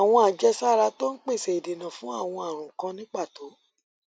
àwọn àjẹsára tó ń pèsè ìdènà fún àwọn ààrùn kan ní pàtó